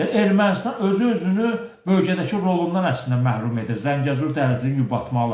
Yəni Ermənistan özü-özünü bölgədəki rolundan əslində məhrum edir Zəngəzur dəhlizini yubatmaqla.